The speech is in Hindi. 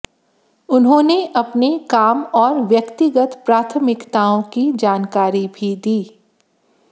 उन्होंन अपने काम और व्यक्तिगत प्राथमिकताओं की जानकारी भी दी